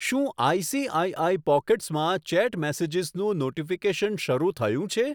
શું ICICI Pockets માં chat મેસેજીસનું નોટીફીકેશન શરુ થયું છે?